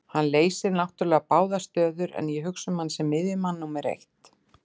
Hann leysir náttúrulega báðar stöður en ég hugsa hann sem miðjumann númer eitt.